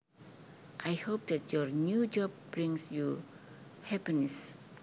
I hope that your new job brings you happiness